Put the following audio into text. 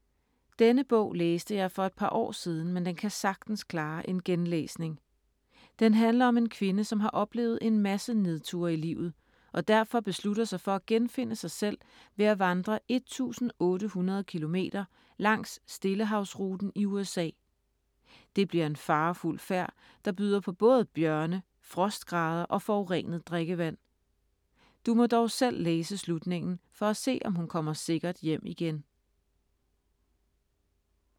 Denne bog læste jeg for et par år siden, men den kan sagtens klare en genlæsning. Den handler om en kvinde, som har oplevet en masse nedture i livet, og derfor beslutter sig for at genfinde sig selv ved at vandre 1800 kilometer langs stillehavsruten i USA. Det bliver en farefuld færd, der byder på både bjørne, frostgrader og forurenet drikkevand. Du må dog selv læse slutningen, for at se om hun kommer sikkert hjem igen…